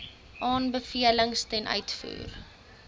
aanbevelings ten uitvoer